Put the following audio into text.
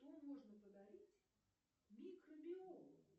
что можно подарить микробиологу